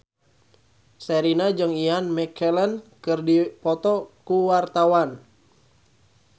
Sherina jeung Ian McKellen keur dipoto ku wartawan